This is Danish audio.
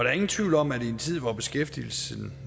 er ingen tvivl om at i en tid hvor beskæftigelsen